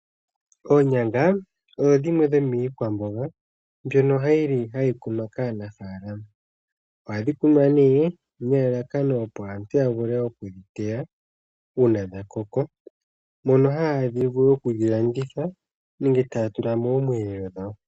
Oonyanga odho dhimwe dhomiikwamboga mbyono yili hayi kunwa kaanafaalama, ohadhi kunwa nee nelalakano opo aantu ya vule oku dhi teya uuna dha koko. Ohaa vulu okudhilanditha nenge taa tula moomweelelo dhawo.